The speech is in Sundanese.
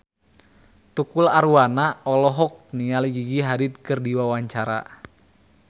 Tukul Arwana olohok ningali Gigi Hadid keur diwawancara